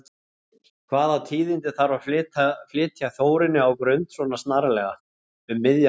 Hvaða tíðindi þarf að flytja Þórunni á Grund, svona snarlega, um miðja nótt?